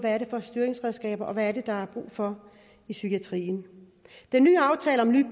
styringsredskaber og på hvad der er brug for i psykiatrien den nye aftale om nye